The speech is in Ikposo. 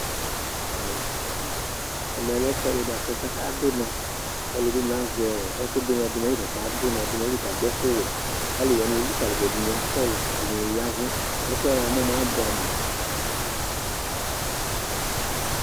Ɛmɛlɛ ɛfʋɛdi bʋakʋ aka du unɔ Alʋɛdìní azɛ ɛku du ʋnɔ du nʋ ayìlí kʋ ɔka du ʋnɔ du nʋ ayìlí kʋ adu ɛku wɛ kʋ alu wani elikali ma du Ɛdiní akɔ lu, ɛdiní ya avu Ɛfʋɛ abʋɛ amu